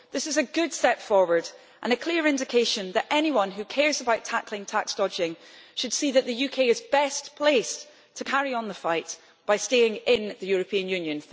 This is a good step forward and a clear indication that anyone who cares about tackling tax dodging should see that the UK is best placed to carry on the fight by staying in the European Union.